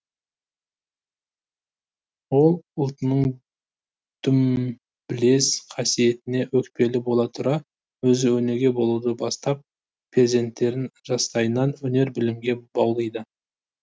ол ұлтының дүмбілез қасиетіне өкпелі бола тұра өзі өнеге болуды бастап перзенттерін жастайынан өнер білімге баулиды